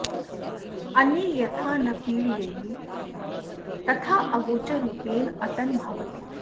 अन्ये यथा न पीडयेयुः तथा अगोचररूपेण अटन् भवति